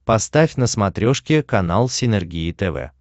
поставь на смотрешке канал синергия тв